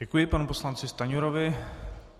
Děkuji panu poslanci Stanjurovi.